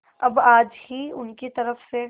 अब आज ही उनकी तरफ से